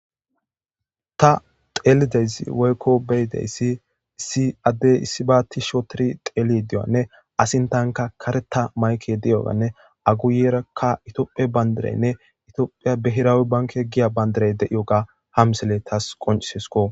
ta telideyssi woykko beyideyssi si addey issibaati sho tiri xeli deyanne asintanka kareta mayke diyoganne aguyerakka itoophie bayndireynne itoophiya behiraawe banke giya bandirey deiyo ga hamsele tas qoncisesko